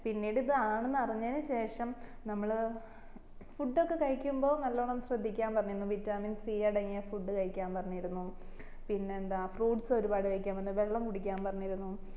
പിന്നീട് ഇത് ആണെന്ന് അറിഞ്ഞയിൻ ശേഷം നമ്മള് food ഒക്കെ കഴിക്കുമ്പോ നാലോണം ശ്രദിക്കാൻ പറഞ്ഞിരുന്നു vitamin c അടങ്ങിയ food കഴിക്കാൻ പറഞ്ഞിരുന്നു പിന്നെ എന്താ fruits ഒരുപാട് കഴിക്കാൻ പറഞ്ഞിരുന്നു വെള്ളം കുടിക്കാൻ പറഞ്ഞരുന്നു